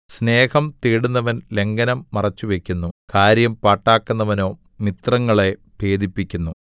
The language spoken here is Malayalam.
സ്നേഹം തേടുന്നവൻ ലംഘനം മറച്ചുവയ്ക്കുന്നു കാര്യം പാട്ടാക്കുന്നവനോ മിത്രങ്ങളെ ഭേദിപ്പിക്കുന്നു